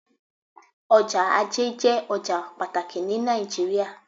Ọjọ́ ajé jé ọjọ́ pàtàkì ní Nàìjíríà